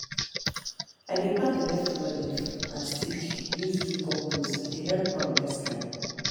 i dey pack the leftover leaf and stick use do compost e dey help ground next time.